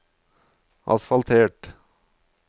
asfaltert